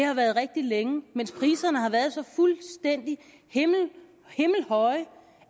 har været rigtig længe mens priserne har været så fuldstændig himmelhøje